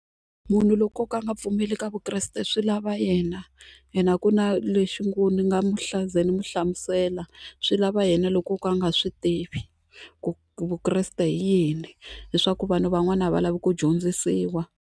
Munhu loko o ka a nga pfumeli ka Vukreste swi lava yena hina a ku na lexi ngo ni nga mu ni mu hlamusela swi lava yena loko o ka a nga swi tivi ku Vukreste hi yini leswaku vanhu van'wani a va lavi ku dyondzisiwa.